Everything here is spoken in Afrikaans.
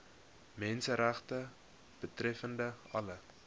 menseregte betreffende alle